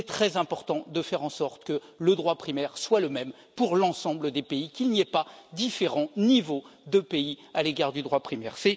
Il est très important de faire en sorte que le droit primaire soit le même pour l'ensemble des pays, qu'il n'y ait pas différents niveaux de pays à l'égard du droit primaire.